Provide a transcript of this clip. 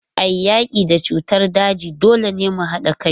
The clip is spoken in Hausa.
A yaki da cutar daji, dole ne mu hada kai.